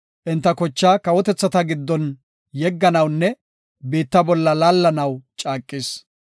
Enta kochaa kawotethata giddon, yegganawunne biitta bolla laallanaw caaqis.